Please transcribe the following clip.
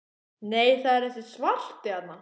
Nei, það er þessi svarti þarna!